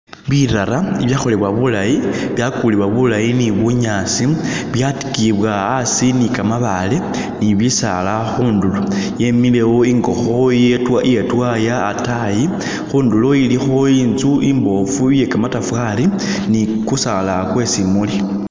Birara bibyakholebwa bulayi, byakulibwa bulayi ni bunyaasi, byatikiyibwa asi ni kamabaale ni bisaala khundulo, yemilewo ingokho ye twa iye i'twaya atayi. khundulo ilikho inzu imboofu iye kamatafari ni kusaala kwe simuuli